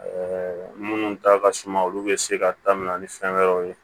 minnu ta ka suma olu bɛ se ka taminɛ ni fɛn wɛrɛw ye